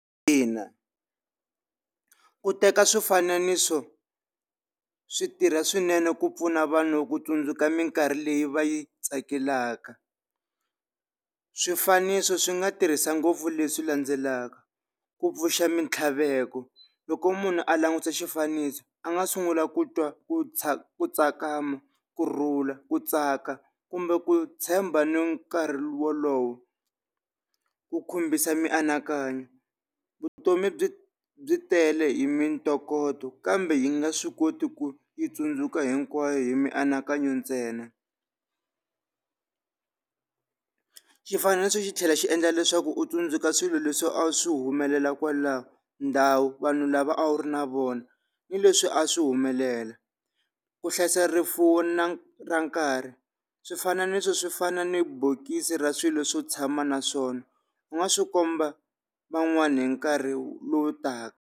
Ina ku teka swifananiso swi tirha swinene ku pfuna vanhu ku tsundzuka minkarhi leyi va yi tsakelaka. Swifaniso swi nga tirhisa ngopfu leswi landzelaka, ku pfuxa mintlhaveko loko munhu a langutisa xifaniso a nga sungula ku twa ku ku tsakama, kurhula ku tsaka kumbe ku tshemba ni nkarhi wolowo, ku khumbisa mianakanyo, vutomi byi byi tele hi mintokoto kambe hi nga swi koti ku yi tsundzuka hinkwayo hi mianakanyo ntsena. Xifananiso xi tlhela xi endla leswaku u tsundzuka swilo leswi a swi humelela kwalaho, ndhawu vanhu lava a wu ri na vona ni leswi a swi humelela, ku hlayisa rifuwo na ra nkarhi. Swifananiso swi fana ni bokisi ra swilo swo tshama na swona u nga swi komba van'wani hi nkarhi lowu taka.